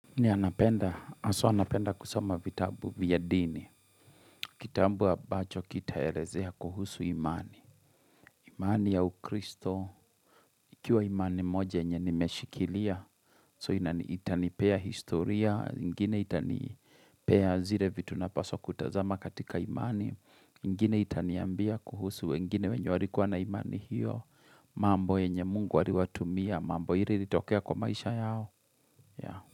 Yea napenda, haswa alnapenda kusoma vitabu vya dini. Kitambu ambacho kitaelezea kuhusu imani. Imani ya ukristo, ikiwa imani moja yenye nimeshikilia. So ina itanipea historia, ingine itanipea zire vitu napaswa kutazama katika imani. Ingine itaniambia kuhusu, wengine wenye warikuwa na imani hiyo. Mambo enye mungu waliwatumia, mambo ire iritokea kwa maisha yao.